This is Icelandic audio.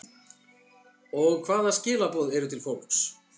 Og hvaða skilaboð eru til fólks?